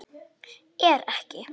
Er ekki